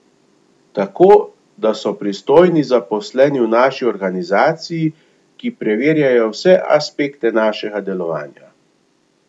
Tako da so pristojni zaposleni v naši organizaciji, ki preverjajo vse aspekte našega delovanja.